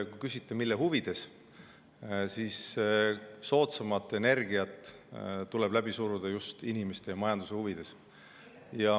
Kui küsite, mille huvides, siis ma ütlen nii: soodsamat energiat tuleb läbi suruda just inimeste ja majanduse huvides.